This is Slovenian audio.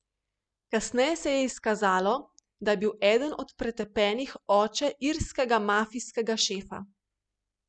Kasneje se je izkazalo, da je bil eden od pretepenih oče irskega mafijskega šefa.